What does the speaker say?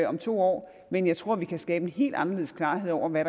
om to år men jeg tror at vi kan skabe en helt anderledes klarhed over hvad